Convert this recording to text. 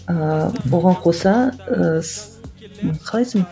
ыыы оған қоса ыыы қалай айтсам